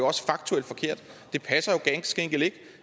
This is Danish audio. også faktuelt forkert det passer jo ganske enkelt ikke